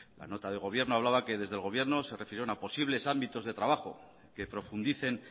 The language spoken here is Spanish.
la nota del gobierno hablaba que desde el gobierno se refirieron a posibles ámbitos de trabajo que profundicen